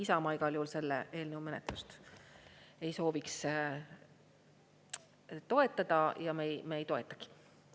Isamaa igal juhul selle eelnõu menetlust ei sooviks toetada ja me ei toetagi.